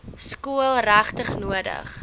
skool regtig nodig